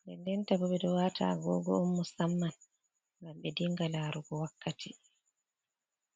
Nden ndenta ɓe ɗo watan ɓe ɗo wata agogo',’on Musamman ngam ɓe dinga larugo wakkati